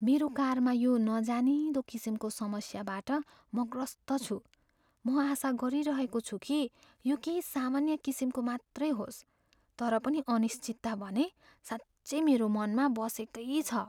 मेरो कारमा यो नजानिँदो किसिमको समस्याबाट म ग्रस्त छु। म आशा गरिरहेको छु कि यो केही सामान्य किसिमको मात्रै होस्, तर पनि अनिश्चितता भने साँच्चै मेरो मनमा बसेकै छ।